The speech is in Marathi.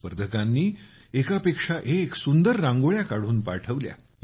सहभागींनी एकापेक्षा एक सुंदर रांगोळ्या काढून पाठवल्या